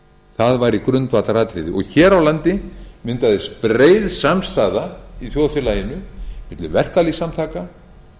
það væri grundvallaratriði hér á landi myndaðist breið samstaða í þjóðfélaginu milli verkalýðssamtaka